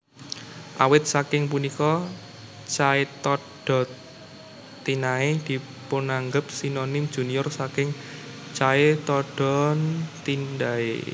Awit saking punika Chaetodontinae dipunanggep sinonim junior saking Chaetodontidae